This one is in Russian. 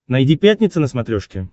найди пятница на смотрешке